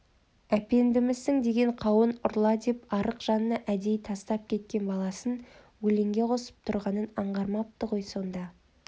әпендімісің деген қауын ұрла деп арық жанына әдейі тастап кеткен баласын өлеңге қосып тұрғанын аңғармапты ғой сонда